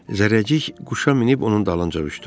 Zərrəcik quşa minib onun dalınca uçdu.